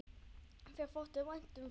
Þér þótti vænt um það.